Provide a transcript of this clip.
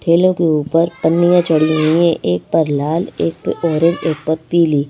ठेलों के ऊपर पन्नियां चढ़ी हुई है एक पर लाल एक पर ऑरेंज एक पर पीली --